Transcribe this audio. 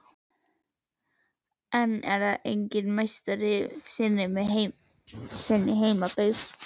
En það er enginn meistari í sinni heimabyggð.